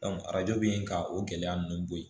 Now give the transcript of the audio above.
arajo bɛ yen ka o gɛlɛya ninnu bo ye